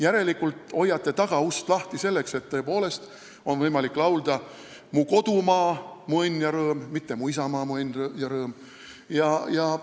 Järelikult te hoiate tagaust lahti, et tõepoolest oleks võimalik laulda "Mu kodumaa, mu õnn ja rõõm", mitte "Mu isamaa, mu õnn ja rõõm".